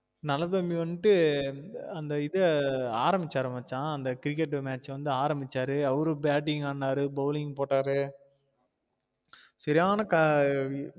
நல்லதம்பி வந்திட்டு அந்த இத அரம்பிசாரு மச்சான் அந்த cricket match ஆ அரம்பிச்சாரு அவரு bating ஆடுனாறு bowling போட்டாரு சரியான